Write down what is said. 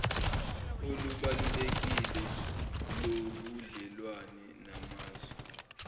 olubalulekile lobudlelwane namazwe